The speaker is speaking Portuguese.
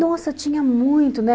Nossa, tinha muito, né?